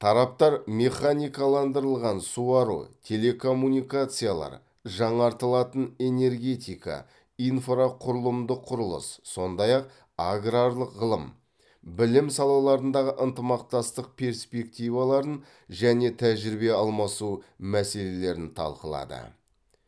тараптар механикаландырылған суару телекоммуникациялар жаңартылатын энергетика инфрақұрылымдық құрылыс сондай ақ аграрлық ғылым білім салаларындағы ынтымақтастық перспективаларын және тәжірибе алмасу мәселелерін талқылады